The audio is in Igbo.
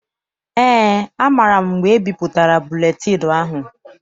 Eé, amaara m mgbe ebipụtara buletịịnụ ahụ.